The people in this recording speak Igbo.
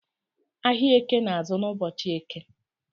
Ahiạ Eke na-azụ n’ ụbọchi Eke